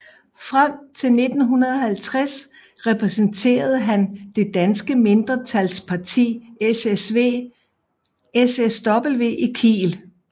Frem til 1950 repræsenterede han det danske mindretals parti SSW i Kiel